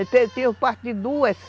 Ele o parto de duas.